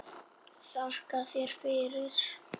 Þakka þér fyrir.